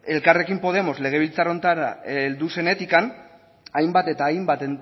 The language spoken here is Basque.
ez elkarrekin podemos legebiltzar honetara heldu zenetik hainbat eta hainbat